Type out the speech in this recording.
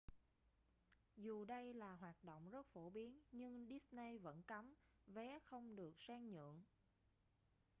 dù đây là hoạt động rất phổ biến nhưng disney vẫn cấm vé không được sang nhượng